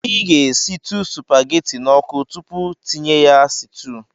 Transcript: I ga-esitụ supageti n'ọkụ tupu tinye sutuu.